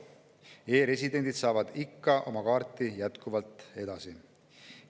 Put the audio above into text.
E‑residendid saavad oma kaarte jätkuvalt edasi.